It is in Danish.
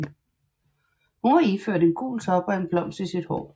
Hun var iført en gul top og en blomst i sit hår